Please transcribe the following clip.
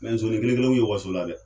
Mɛ zonin kelenkelenw ye waso la dɛ